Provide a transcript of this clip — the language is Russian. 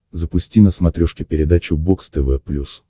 запусти на смотрешке передачу бокс тв плюс